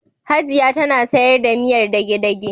Hajiya tana sayar da miyar dage-dage.